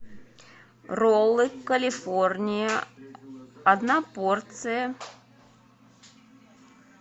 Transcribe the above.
роллы калифорния одна порция